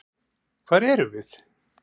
Hvar erum við?